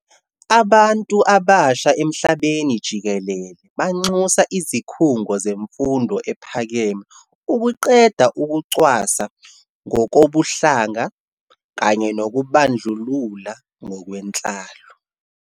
Abantu abasha emhlabeni jikelele banxusa izikhungo zemfundo ephakeme ukuqeda ukucwasa ngokobuhlanga kanye nokubandlulula ngokwenhlalo.